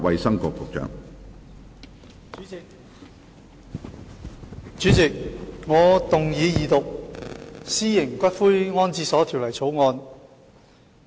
主席，我動議二讀《私營骨灰安置所條例草案》。